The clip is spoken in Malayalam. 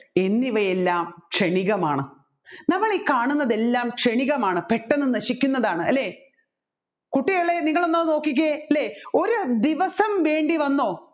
എന്നിവയെല്ലാം ക്ഷണികമാണ് നമ്മൾ ഈ കാണുന്നതെല്ലാം ക്ഷണികമാണ് പെട്ടെന്ന് നശിക്കുന്നതാണ് അല്ലെ കുട്ടികളെ നിങ്ങൾ അതൊന്നു നോക്കിക്കേ ഒരു ദിവസം വേണ്ടിവന്നോ